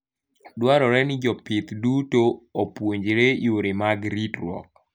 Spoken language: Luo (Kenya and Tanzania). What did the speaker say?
Dwarore ni jopith duto opuonjre yore mag ritruok.